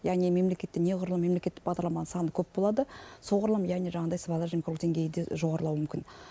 яғни мемлекетте неғұрлым мемлекеттік бағдарламаның саны көп болады соғұрлым яғни жаңағыдай сыбайлас жемқорлық деңгейі де жоғарылауы мүмкін